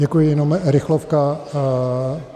Děkuji, jenom rychlovka.